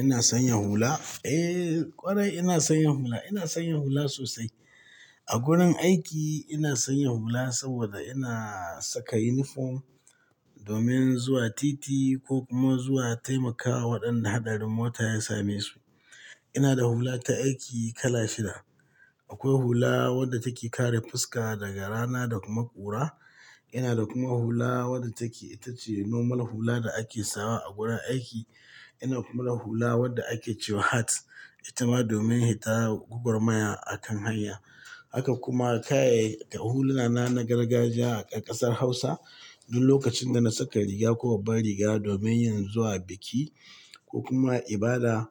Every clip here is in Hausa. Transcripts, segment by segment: Ina sanya hula? Eh, ƙwarai ina sanya hula. Ina sanya hula sosai. A gurin aiki ina sanya hula saboda ina saka uniform domin zuwa titi ko kuma zuwa taimakawa waɗanda hatsarin mota ya same su. Ina da hula ta aiki kala shida. Akwai hula wadda take kare fuska daga rana da kuma ƙura. Ina da kuma hula wadda take, ita ce normal hula da ake sawa a gurin aiki. Ina kuma da hula wadda ake cewa hat, ita ma domin hita gugar mayar a kan hanya. Haka kuma, kaya, huluna na na gargajiya a ƙasar Hausa duk lokacin da na saka riga ko babba riga domin yin zuwa biki ko kuma ibada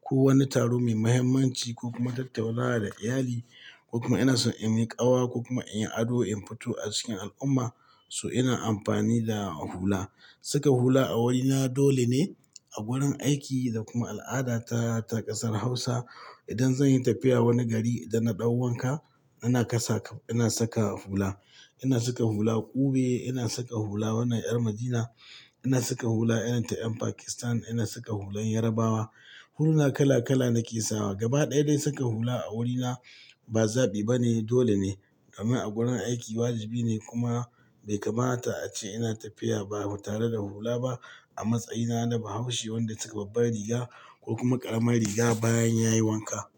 ko wani taro mai muhimmanci ko kuma tattaunawa da iyali ko kuma ina so in yi ƙawa ko kuma in yi ado in fito a cikin al'umma, so ina amfani da hula. Saka hula a wurina dole ne a gurin aiki da kuma al'ada ta, ta ƙasar Hausa. Idan zan yi tafiya wani gari idan na ɗau wanka, ina kasa-- ina saka hula. Ina saka hula ƙube, ina saka hula wannan ƴar Madina, ina saka hula irin ta 'yan Pakistan, ina saka hulan Yarabawa. Huluna kala kala nake sawa. Gaba ɗaya dai saka hula a wurina ba zaɓi ba ne, dole ne. Domin a gurin aiki wajibi ne kuma bai kamata ace ina tafiya ba tare da hula ba. A matsayina na bahaushe wanda ya saka babbare riga ko kuma ƙarama riga bayan ya yi wanka.